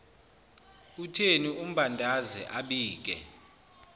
utheni ambandaze abike